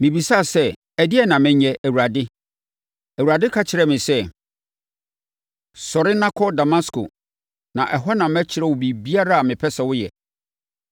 “Mebisaa sɛ, ‘Ɛdeɛn na menyɛ, Awurade?’ “Awurade ka kyerɛɛ me sɛ, ‘Sɔre na kɔ Damasko, na ɛhɔ na mɛkyerɛ wo biribiara a mepɛ sɛ woyɛ.’